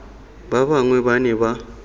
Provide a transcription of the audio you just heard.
ba bangwe ba ne ba